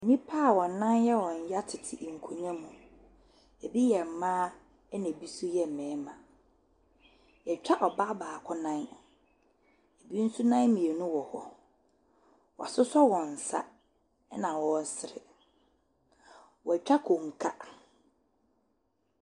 Nnipa wɔn nan yɛ wɔn ya tete nkonnwa mu, bi yɛ mmaa na bi nso yɛ mmarima, yɛtwa ɔbaa baako nan, bi nso nan mmienu wɔ hɔ, wɔasosɔ wɔn nsa na wɔresere. Wɔatwa konka.